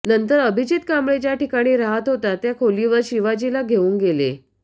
नंतर अभिजित कांबळे ज्या ठिकाणी राहत होता त्या खोलीवर शिवाजीला घेऊन गेले